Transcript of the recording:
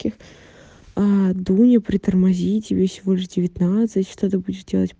ких аа дуня притормози тебе всего лишь девятнадцать что ты будешь делать